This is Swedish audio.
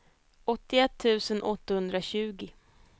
åttioett tusen åttahundratjugo